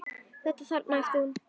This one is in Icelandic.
Þetta þarna, æpti hún.